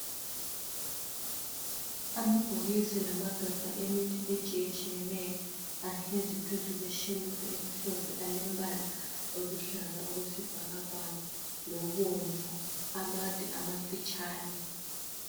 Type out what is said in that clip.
Amabhokisi lamagabha emithi etshiyetshiyeneyo ahlezi phezu kweshelufu emhlophe alembala oluhlaza okwesibhakabhaka, lobomvu amade amafitshane.